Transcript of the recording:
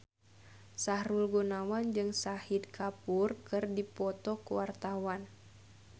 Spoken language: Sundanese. Sahrul Gunawan jeung Shahid Kapoor keur dipoto ku wartawan